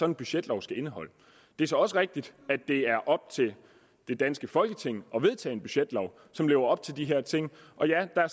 en budgetlov skal indeholde det er så også rigtigt at det er op til det danske folketing at vedtage en budgetlov som lever op til de her ting og ja der er